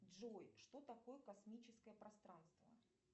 джой что такое космическое пространство